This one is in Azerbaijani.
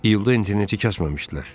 İyulda interneti kəsməmişdilər.